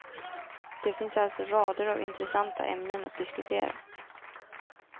Det finns alltså rader av intressanta ämnen att diskutera.